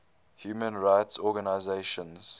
human rights organizations